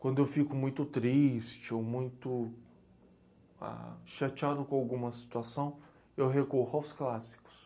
Quando eu fico muito triste, ah, ou muito chateado com alguma situação, eu recorro aos clássicos.